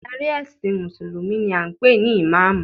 Adarí ẹ̀sìn mùsùlùmí ni a ń pè ní ìmáàmù